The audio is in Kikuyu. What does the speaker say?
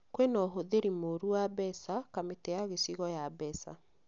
Kwĩna ũhũthĩri mũru wa mbeca Kamĩtĩ ya gĩcigo ya mbeca